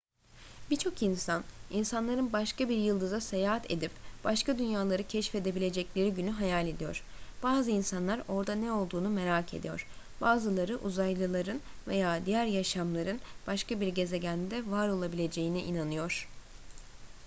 birçok insan insanların başka bir yıldıza seyahat edip başka dünyaları keşfedebilecekleri günü hayal ediyor bazı insanlar orada ne olduğunu merak ediyor bazıları uzaylıların veya diğer yaşamların başka bir gezegende varolabileceğine inanıyor